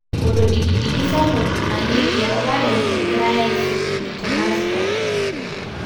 Olodikidiki sapup narieki eropare egirae aisilig te Moscow.